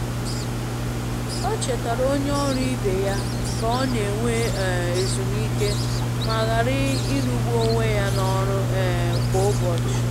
O chet'ara onye ọrụ ibe ya ka ọ n'enwe um ezumike ma ghara ịrụ gbu onwe ya na ọrụ um kwa ụbọchị.